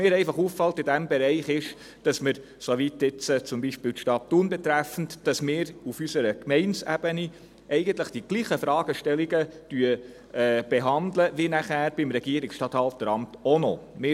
Mir fällt in diesem Bereich einfach auf, zum Beispiel die Stadt Thun betreffend, dass wir auf unserer Gemeindeebene eigentlich dieselben Fragestellungen behandeln, wie es das Regierungsstatthalteramt auch noch tut.